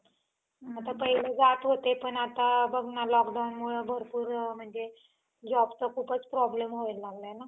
आता पहिले जात होते पण आता बघ ना lockdownमुळं भरपूर म्हणजे jobचा खूप problem व्हायला लागलाय ना.